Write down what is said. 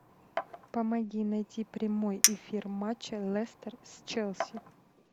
помоги найти прямой эфир матча лестер с челси